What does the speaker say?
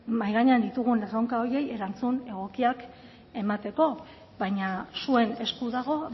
mahai gainean ditugun erronka horiei erantzun egokiak emateko baina zuen esku dago